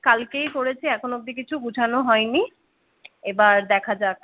কালকেই করেছি এখনো অবদি কিছু গোছানো হয়নি। এবার দেখা যাক